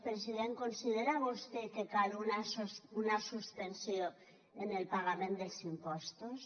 president considera vostè que cal una suspensió en el pagament dels impostos